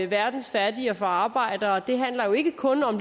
verdens fattige og for arbejderne handler jo ikke kun